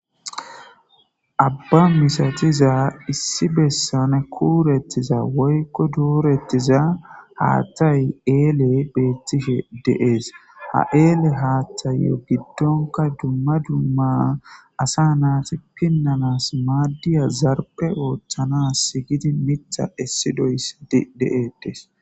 abba misatiza issi bessane kuurettiza woykko doorettiza haaththay eele beetishe de7ees ha eele haaththayo giddonka dumma dumma asa naati pinnanas maaddiya zarpe ooththanass gidi mitha essi doyssi de7edes.